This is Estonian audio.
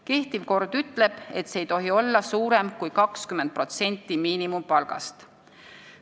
Kehtiv kord ütleb, et see ei tohi olla suurem kui 20% miinimumpalgast.